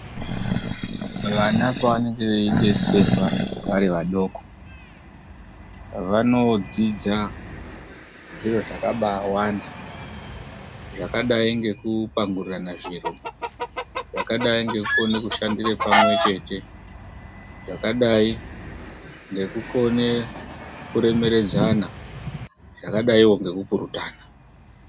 Vana pavanenge veidetserwa vari vadoko vanodzidza zviro zvakabsawanda zvakadai ngekupangurirana zviro, zvakadai nekukona kushandire pamwe chete, zvakadai ngekukona kuremeredzana zvakadaiwo ngekupurutana.